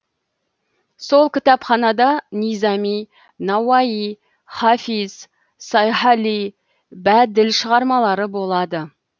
сол кітапханада низами науаи хафиз сайхали бәділ шығармалары болады